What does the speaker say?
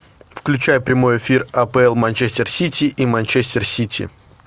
включай прямой эфир апл манчестер сити и манчестер сити